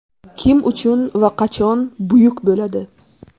Kim uchun va qachon buyuk bo‘ladi?